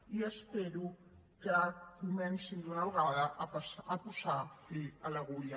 i espero que comencin d’una vegada a posar fil a l’agulla